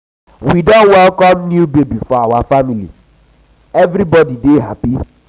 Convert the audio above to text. we don welcome new baby for our family everybody dey happy.